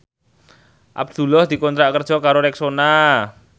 Abdullah dikontrak kerja karo Rexona